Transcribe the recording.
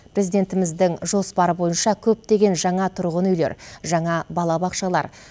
президентіміздің жоспары бойынша көптеген жаңа тұрғын үйлер жаңа балабақшалар